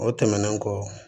O tɛmɛnen kɔ